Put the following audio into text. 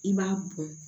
I b'a bɔn